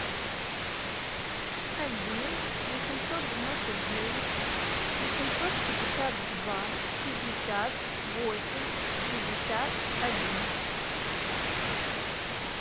один восемьсот девяносто девять восемьсот пятьдесят два шестьдесят восемь шестьдесят один